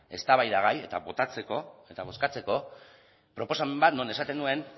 eztabaidagai eta botatzeko eta bozkatzeko proposamen bat non esaten duen